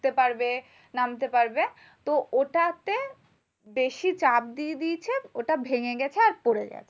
উঠতে পারবে নামতে পারবে। তো ওটাতে বেশি চাপ দিয়ে দিয়েছে ওটা ভেঙ্গে গেছে আর পরে গেছে।